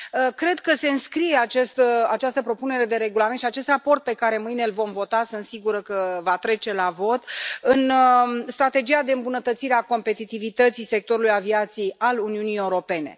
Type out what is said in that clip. Cred că se înscrie această propunere de regulament și acest raport pe care mâine îl vom vota sunt sigură că va trece la vot în strategia de îmbunătățire a competitivității sectorului aviației al Uniunii Europene.